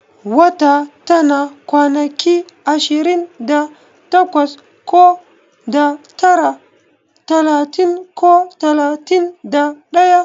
Wata tana kwanaki ashirin da takwas ko da tara, talatin ko talatin da daya